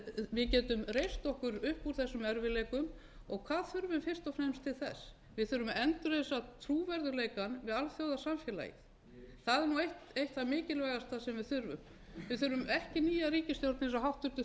við getum reist okkur upp úr þessum erfiðleikum og hvað þurfum við fyrst og fremst til þess við þurfum að endurreisa trúverðugleikann við alþjóðasamfélagið það er eitt það mikilvægasta sem við þurfum við þurfum ekki nýja ríkisstjórn eins og háttvirtur